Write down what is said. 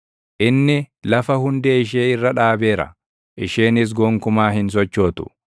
Inni lafa hundee ishee irra dhaabeera; isheenis gonkumaa hin sochootu.